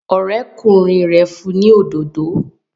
Ọ̀rẹ́kùnrin rẹ̀ fún ni òdodo